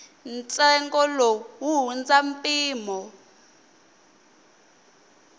ntsengo lowu wu hundza mpimo